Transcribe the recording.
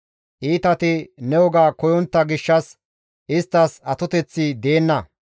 Iitati ne woga koyontta gishshas isttas atoteththi deenna.